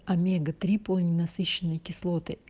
омега три полиненасыщенные кислоты